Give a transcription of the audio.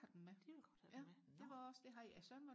det ville godt have den med nå